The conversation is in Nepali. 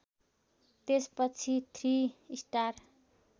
त्यसपछि थ्रि स्टार